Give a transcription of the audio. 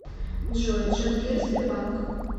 джой джангир сбербанк